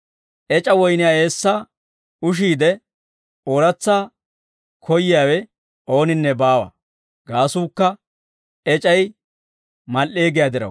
Ec'a woyniyaa eessaa ushiide ooratsa koyyiyaawe ooninne baawa; gaasuukka ec'ay mal"ee giyaa diraw.»